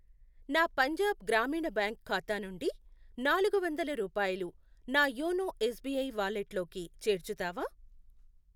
నా పంజాబ్ గ్రామీణ బ్యాంక్ ఖాతా నుండి నాలుగు వందల రూపాయలు నా యోనో ఎస్ బీ ఐ వాలెట్లోకి చేర్చుతావా?